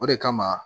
O de kama